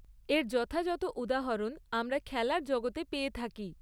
এর যথাযথ উদাহরণ আমরা খেলার জগতে পেয়ে থাকি।